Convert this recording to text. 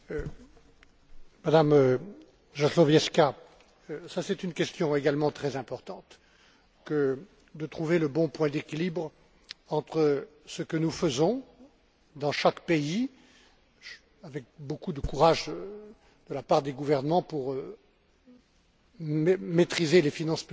Madame Jazlowiecka, c'est une question également très importante que de trouver le bon point d'équilibre entre ce que nous faisons dans chaque pays, avec beaucoup de courage de la part des gouvernements, pour maîtriser les finances publiques, assainir